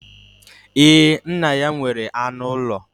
Ee, nna ya nwere anụ ụlọ